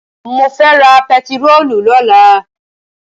Mo fẹ́ ra pẹtirólù lọ́la.